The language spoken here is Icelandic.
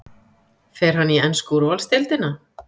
Fer hann í ensku úrvalsdeildina?